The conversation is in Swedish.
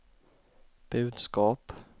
budskap